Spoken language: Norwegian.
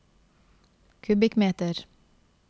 kubikkmeter